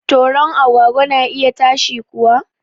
Toron agwagwa na iya ta shi kuwa